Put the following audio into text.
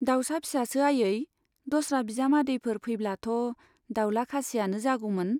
दाउसा फिसासो आयै ? दस्रा बिजामादैफोर फैब्लाथ' दाउला खासियानो जागौमोन ?